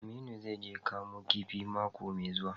Aminu zai je Kamun kifi mako mai zuwa.